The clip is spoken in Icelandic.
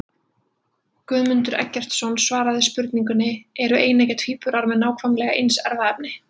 Guðmundur Eggertsson svaraði spurningunni Eru eineggja tvíburar með nákvæmlega eins erfðaefni?